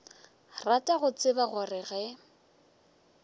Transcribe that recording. rata go tseba gore ge